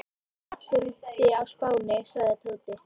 Allir úti á Spáni sagði Tóti.